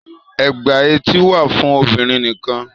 Ègbà etí wà fún obìnrin nì kan.